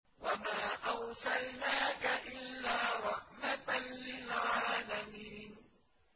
وَمَا أَرْسَلْنَاكَ إِلَّا رَحْمَةً لِّلْعَالَمِينَ